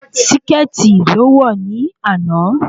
Síkẹ̀tì lo wọ̀ ní àná